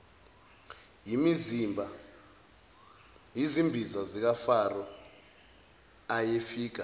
yizimbiza zikafaro ayefika